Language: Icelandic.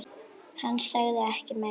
Hann sagði ekki meira.